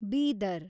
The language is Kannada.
ಬೀದರ್